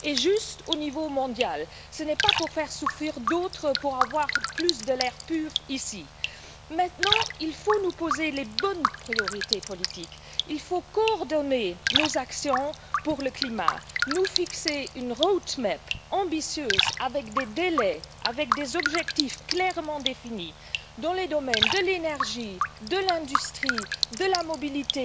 et juste au niveau mondial nous ne pouvons pas faire souffrir d'autres pour avoir plus d'air pur ici. Maintenant, il faut établir les bonnes priorités politiques, il faut coordonner nos actions pour le climat, établir une feuille de route ambitieuse, avec des délais, avec des objectifs clairement définis dans les domaines de l'énergie, de l'industrie, de la mobilité,